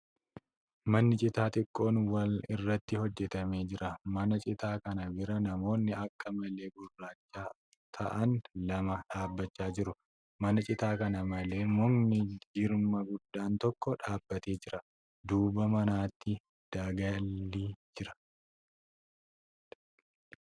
Manni citaa xiqqoon wal irratti hojjatamee jira. Mana citaa kana bira namoonni akka malee gurracha ta'an lama dhaabbachaa jiru. Mana citaa kana malee mukni jirma guddaan tokko dhaabbatee jira. Duuba manaatti daggalli jira.